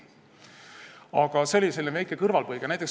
Aga see oli selline väike kõrvalepõige.